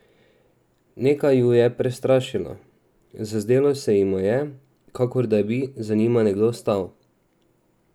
Nekaj ju je prestrašilo, zazdelo se jima je, kakor da bi za njima nekdo stal!